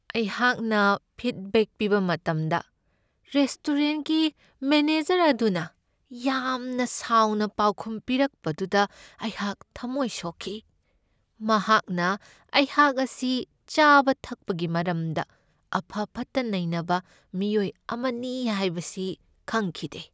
ꯑꯩꯍꯥꯛꯅ ꯐꯤꯗꯕꯦꯛ ꯄꯤꯕ ꯃꯇꯝꯗ ꯔꯦꯁꯇꯨꯔꯦꯟꯠꯒꯤ ꯃꯦꯅꯦꯖꯔ ꯑꯗꯨꯅ ꯌꯥꯝꯅ ꯁꯥꯎꯅ ꯄꯥꯎꯈꯨꯝ ꯄꯤꯔꯛꯄꯗꯨꯗ ꯑꯩꯍꯥꯛ ꯊꯝꯃꯣꯏ ꯁꯣꯛꯈꯤ ꯫ ꯃꯍꯥꯛꯅ ꯑꯩꯍꯥꯛ ꯑꯁꯤ ꯆꯥꯕ ꯊꯛꯕꯒꯤ ꯃꯔꯝꯗ ꯑꯐ ꯐꯠꯇ ꯅꯩꯅꯕ ꯃꯤꯑꯣꯏ ꯑꯃꯅꯤ ꯍꯥꯏꯕꯁꯤ ꯈꯪꯈꯤꯗꯦ ꯫